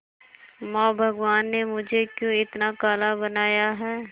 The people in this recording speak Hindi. मां भगवान ने मुझे क्यों इतना काला बनाया है